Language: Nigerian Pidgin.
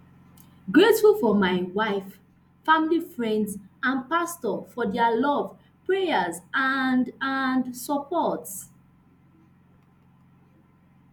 grateful for my wife family friends and pastors for dia love prayers and and support